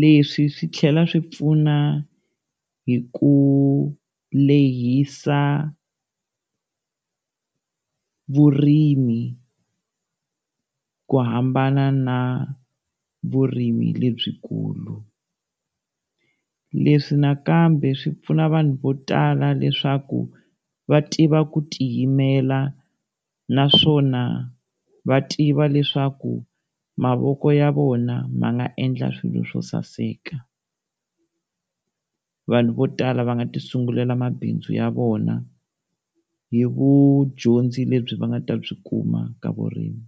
Leswi swi tlhela swi pfuna hi ku lehisa vurimi ku hambana na vurimi lebyikulu. Leswi nakambe swi pfuna vanhu vo tala leswaku va tiva ku tiyimela naswona va tiva leswaku mavoko ya vona ma nga endla swilo swo saseka. Vanhu vo tala va nga ti sungulela mabindzu ya vona hi vudyondzi lebyi va nga ta byi kuma ka vurimi.